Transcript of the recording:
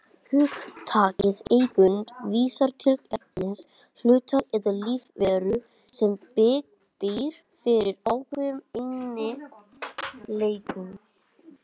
Hugtakið tegund vísar til efnis, hlutar eða lífveru sem býr yfir ákveðnum eiginleikum.